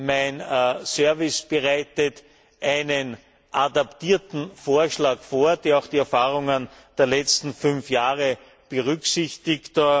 Mein Dienst bereitet einen adaptierten Vorschlag vor, der auch die Erfahrungen der letzten fünf Jahre berücksichtigt.